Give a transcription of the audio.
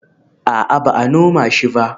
A'a, ba a noma shi ba